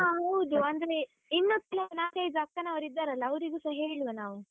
ಹಾ ಹೌದು, ಅಂದ್ರೆ ಇನ್ನೂ ಕೆಲವು ನಾಕೈದು ಅಕ್ಕನವರು ಇದ್ದಾರಲ್ಲ ಅವರಿಗೂಸ ಹೇಳುವ ನಾವು.